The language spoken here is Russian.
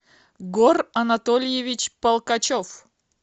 гор анатольевич полкачев